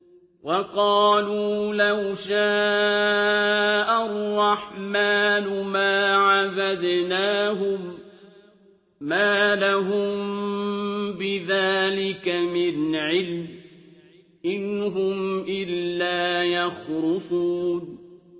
وَقَالُوا لَوْ شَاءَ الرَّحْمَٰنُ مَا عَبَدْنَاهُم ۗ مَّا لَهُم بِذَٰلِكَ مِنْ عِلْمٍ ۖ إِنْ هُمْ إِلَّا يَخْرُصُونَ